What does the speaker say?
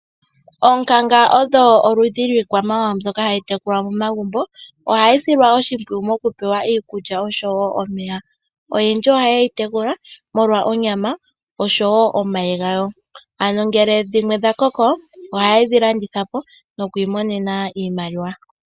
Oonkanga odho oludhi dhiikwamawawa mbyoka hayi tekulwa momagumbo ohayi silwa oshimpwiyu mokupewa iikulya osho woo omeya. Oyendji ohaye yitekula molwa onyama osho woo omayi gawo ano ngele dhimwe dhakoko ohaye dhilandithapo nokwiimonena iimaliwa.